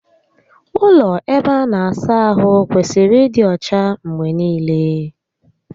Ụlọ ebe a na-asa ahụ kwesịrị ịdị ọcha mgbe niile